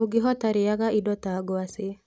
Ũngĩhota rĩaga indo ta ngwacĩ